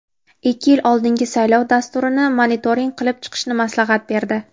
ikki yil oldingi saylov dasturini monitoring qilib chiqishni maslahat berdi.